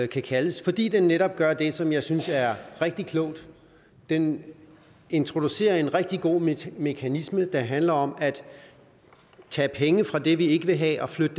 kan kaldes fordi den netop gør det som jeg synes er rigtig klogt den introducerer en rigtig god mekanisme der handler om at tage penge fra det vi ikke vil have og flytte